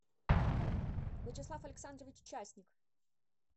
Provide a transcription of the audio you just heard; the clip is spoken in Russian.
вячеслав александрович часник